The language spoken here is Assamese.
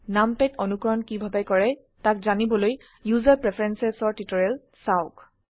নামপ্যাড অনুকৰণ কিভাবে কৰে তাক জানিবলৈ ওচেৰ প্ৰেফাৰেন্স এৰ টিউটোৰিয়েল চাওক